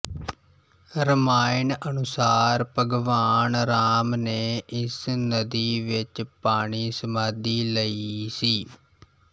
ਰਾਮਾਇਣ ਅਨੁਸਾਰ ਭਗਵਾਨ ਰਾਮ ਨੇ ਇਸ ਨਦੀ ਵਿੱਚ ਪਾਣੀ ਸਮਾਧੀ ਲਈ ਸੀ